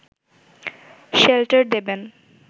shelter দেবেন